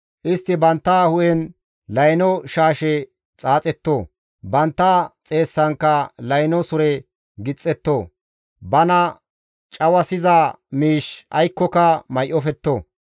Istti bantta hu7en layno shaashe xaaxetto; bantta xeessankka layno sure gixxetto. Bana cawasiza miish aykkoka may7ofetto.